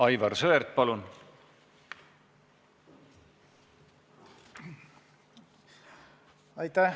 Aivar Sõerd, palun!